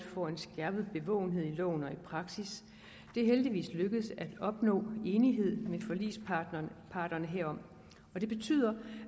får en skærpet bevågenhed i loven og i praksis det er heldigvis lykkedes at opnå enighed med forligsparterne herom og det betyder